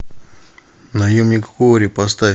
наемник куорри поставь